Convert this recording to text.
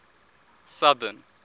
southern